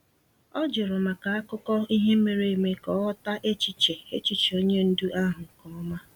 O jụrụ maka akụkọ ihe mere eme ka ọ ghọta echiche echiche onye ndu ahụ nke ọma.